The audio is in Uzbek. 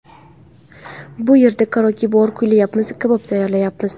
Bu yerda karaoke bor, kuylayapmiz, kabob tayyorlayapmiz.